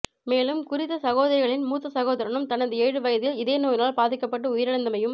மேலும் குறித்த சகோதரிகளின் மூத்த சகோதரனும் தனது ஏழு வயதில் இதே நோயினால் பாதிக்கப்பட்டு உயிரிழந்தமையும்